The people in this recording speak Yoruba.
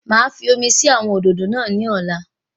Màá fi omi sí àwọn òdòdó náà ní ọ̀la